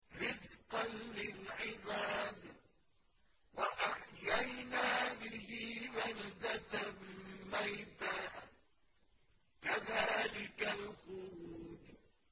رِّزْقًا لِّلْعِبَادِ ۖ وَأَحْيَيْنَا بِهِ بَلْدَةً مَّيْتًا ۚ كَذَٰلِكَ الْخُرُوجُ